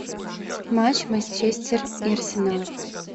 матч манчестер и арсенал